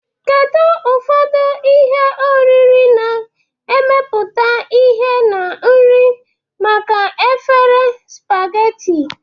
Kedu ụfọdụ ihe oriri na-emepụta ihe na nri maka efere spaghetti?